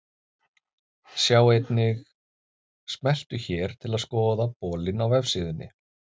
Sjá einnig: Smelltu hér til að skoða bolinn á vefsíðunni.